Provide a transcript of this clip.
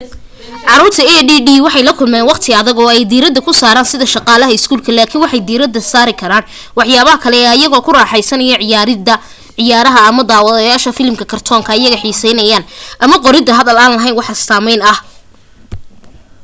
caruurta add waxay la kulmeen waqti adag oo ay diirada ku saran sida shaqada iskuulka laakin waxay diirada saari karaan waxyaabaha kale ee ayago ku raxeysanaya ciyaarida ciyaaraha ama daawashahda filim kartoonka ayaya xiseeyaan ama qorida hadal aan laheyn wax astaameyn ah